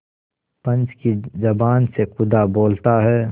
पंच की जबान से खुदा बोलता है